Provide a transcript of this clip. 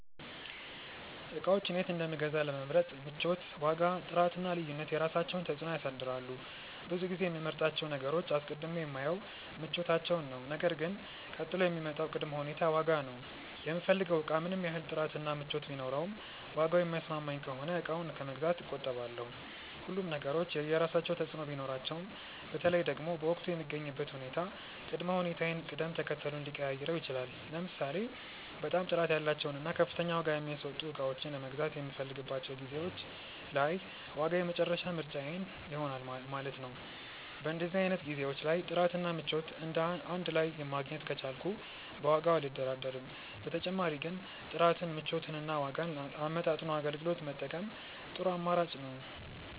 እቃዎችን የት እንደምገዛ ለመምረጥ ምቾት፣ ዋጋ፣ ጥራት እና ልዩነት የራሳቸውን ተፅዕኖ ያሳድራሉ። ብዙ ጊዜ የምመርጣቸውን ነገሮች አስቀድሜ የማየው ምቾታቸውን ነው ነገር ግን ቀጥሎ የሚመጣው ቅድመ ሁኔታ ዋጋ ነው። የምፈልገው እቃ ምንም ያህል ጥራት እና ምቾት ቢኖረውም ዋጋው የማይስማማኝ ከሆነ እቃውን ከመግዛት እቆጠባለሁ። ሁሉም ነገሮች የየራሳቸው ተፅእኖ ቢኖራቸውም በተለይ ደግሞ በወቅቱ የምገኝበት ሁኔታ ቅድመ ሁኔታዬን ቅደም ተከተሉን ሊቀያይረው ይችላል። ለምሳሌ በጣም ጥራት ያላቸውን እና ከፍተኛ ዋጋ የሚያስወጡ እቃዎችን መግዛት የምፈልግባቸው ጊዜዎች ላይ ዋጋ የመጨረሻ ምርጫዬ ይሆናል ማለት ነው። በእንደዚህ አይነት ጊዜዎች ላይ ጥራት እና ምቾት እንድ ላይ ማግኘት ከቻልኩ በዋጋው አልደራደርም። በተጨማሪ ግን ጥራትን፣ ምቾትን እና ዋጋን አመጣጥኖ አገልግሎት መጠቀም ጥሩ አማራጭ ነው።